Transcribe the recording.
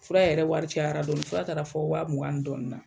Fura yɛrɛ wari cɛyara dɔɔnin, fura taara fɔ waa mugan ni dɔɔnin na!